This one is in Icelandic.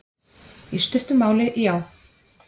Í stuttu máli já.